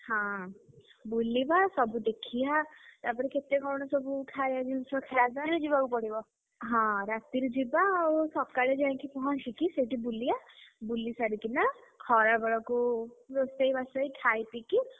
ହଁ ବୁଲିବା ସବୁ ଦେଖିଆ ତାପରେ ବି କେତେ କଣ ସବୁ ଖାୟା ଜିନିଷ ଖାଇବା। ରାତିରେ ଯିବାକୁ ପଡିବ। ହଁ ରାତିରେ ଯିବା ଆଉ ସକାଳେ ଯାଇକି ପହଞ୍ଚିକି କି ସେଠି ବୁଲିଆ ବୁଲି ସାରିକିନା, ଖରା ବେଳକୁ ରୋଷେଇ ବାସ ହେଇକି ଖାଇପିକି ସବୁ ବୁଲିକି ଦେଖିକି ଆସିବା ଆଉ।